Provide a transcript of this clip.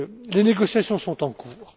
Les négociations sont en